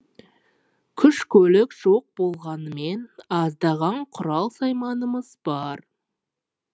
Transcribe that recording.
күш көлік жоқ болғанымен аздаған құрал сайманымыз бар